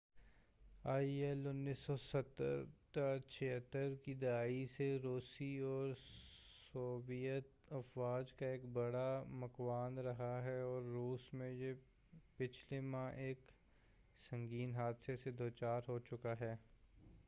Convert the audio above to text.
آئی ایل-76 1970 کی دہائی سے روسی اور سوویت افواج کا ایک بڑا مُکوِّن رہا ہے اور روس میں یہ پچھلے ماہ ایک سنگین حادثہ سے دوچار ہو چکا ہے